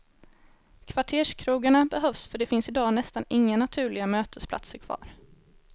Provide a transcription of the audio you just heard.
Kvarterskrogarna behövs för det finns idag nästan inga naturliga mötesplatser kvar.